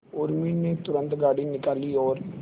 उर्मी ने तुरंत गाड़ी निकाली और